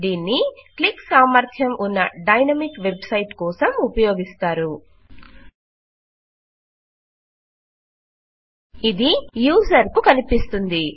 దీన్ని క్లిక్ సామర్థ్యం ఫార్మ్స్ కలిగిఉన్న డైనమిక్ వెబ్ సైట్ కోసం ఉపయోగిస్తారు ఇది యూజర్ కు కనిపిస్తుంది